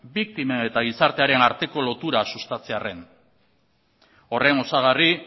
biktimen eta gizartearen arteko lotura sustatzearren horren osagarri